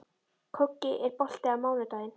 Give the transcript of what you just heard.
Koggi, er bolti á mánudaginn?